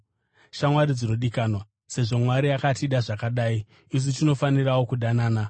Shamwari dzinodikanwa, sezvo Mwari akatida zvakadai, isu tinofanirawo kudanana.